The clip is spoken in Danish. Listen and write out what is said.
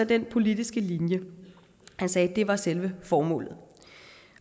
den politiske linje han sagde at det var selve formålet